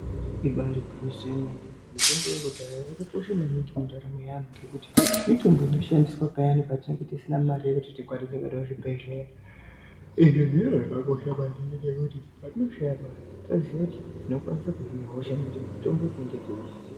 Ibari gwinyiso remene mitombo yekudhaya yakakosha maningi pandaramo yevantu ngekuti mitombo inoshandiswa payani patinenge tisina mare yekuti tiende kuzvibhedhlera izvi zviro zvakakosha maningi ngekuti tinoziya kuhina hosha Ngekuti mutombo tinenge teuuziva.